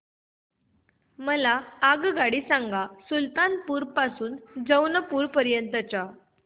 मला आगगाडी सांगा सुलतानपूर ते जौनपुर पर्यंत च्या